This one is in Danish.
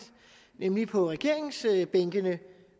nemlig på regeringsbænkene